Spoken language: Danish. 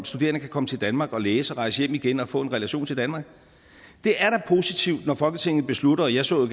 studerende kan komme til danmark og læse og rejse hjem igen og få en relation til danmark det er da positivt når folketinget beslutter og jeg så jo